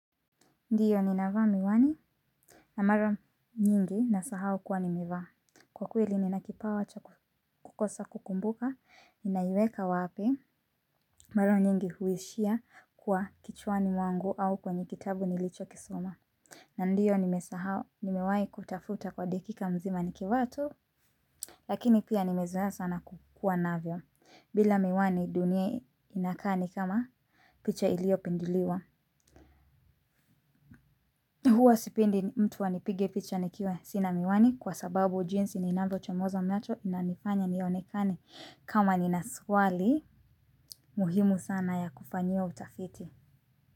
Ndiyo ninavaa miwani na mara nyingi nasahau kuwa nimevaa. Kwa kweli nina kipawa cha kukosa kukumbuka ninaiweka wapi mara nyingi huishia kwa kichwani mwangu au kwenye kitabu nilicho kisoma. Na ndiyo nimesahau, nimewahi kutafuta kwa dakika mzima nikivaa tu lakini pia nimezoa sana kukua navyo. Bila miwani dunia inakaa ni kama picha ilio pinduliwa. Huwa sipindi mtuwa nipige ficha nikiwe sinamiwani kwa sababu ujinsi ni nando cha mozo miacho na nifanya nionekane kama ninaswali muhimu sana ya kufanyo utafiti.